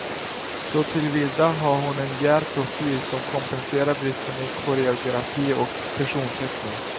Såtillvida har hon en djärv profil som kompenserar bristerna i koreografi och personteckning.